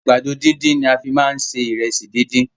Àgbàdo dídùn ni a fi má ń se Ìrẹsì dídín.